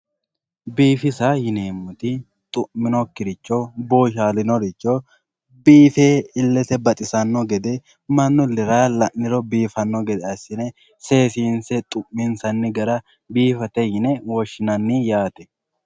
biifisa yineemmoti xu'minokkiricho bbooshshalinoricho biife illete baxisanno gede mannu illera la'niro biifanno gede seesinse seesinse xu'minse biifinsate yine woshshinanni yaate